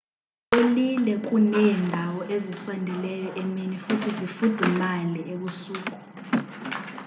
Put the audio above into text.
zipholile kuneendawo ezisondeleyo emini futhi zifudumale ebusuku